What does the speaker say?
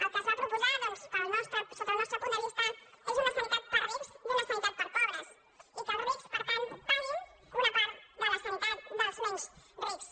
el que es va proposar doncs sota el nos·tre punt de vista és una sanitat per a rics i una sanitat per a pobres i que els rics per tant paguin una part de la sanitat dels menys rics